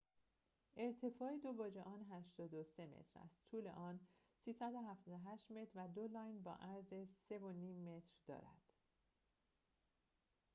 ارتفاع دو برج آن ۸۳ متر است طول آن ۳۷۸ متر و دو لاین با عرض ۳.۵۰ متر دارد